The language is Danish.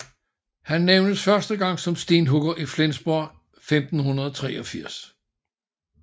Han nævnes første gang som stenhugger i Flensborg i 1583